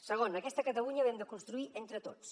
segon aquesta catalunya l’hem de construir entre tots